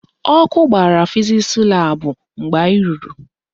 Ọkụ gbara fizisi laabụ mgbe anyị ruru